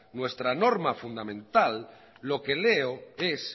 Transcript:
nuestra norma fundamental lo que leo es